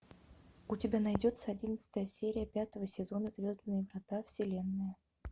у тебя найдется одиннадцатая серия пятого сезона звездные врата вселенная